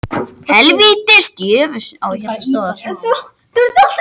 Heljarskinn var viðurnefni nokkurra manna til forna.